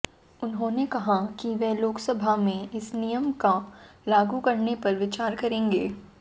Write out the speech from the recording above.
उन्होंने कहा कि वे लोकसभा में इस नियम को लागू करने पर विचार करेंगी